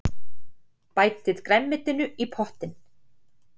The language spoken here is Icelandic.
Bætið grænmetinu í pottinn.